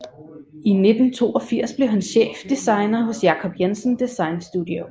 I 1982 blev han chefdesigner hos Jacob Jensen Design Studio